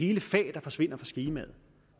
hele fag forsvinder fra skemaet